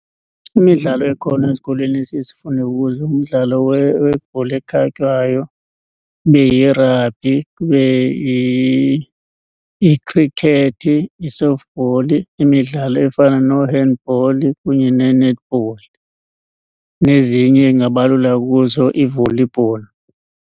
Imidlalo ekhona ezikolweni esiye sifunde kuzo ngumdlalo webhola ekhatywayo, ibe yirabhi, ibe ikhrikhethi, i-softball. Imidlalo efana noo-handball kunye nee-netball, nezinye endingabalula kuzo, i-volleyball.